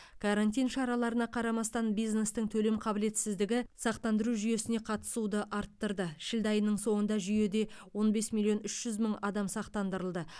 карантин шараларына қарамастан бизнестің төлем қабілетсіздігі сақтандыру жүйесіне қатысуды арттырды шілде айының соңында жүйеде он бес миллион үш жүз мың адам сақтандырылды